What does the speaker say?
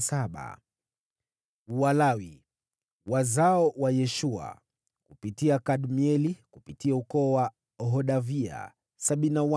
Walawi: wazao wa Yeshua (kupitia Kadmieli kupitia jamaa ya Hodavia) 74